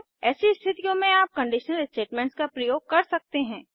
ऐसी स्थितियों में आप कंडीशनल स्टेटमेंट्स का प्रयोग कर सकते हैं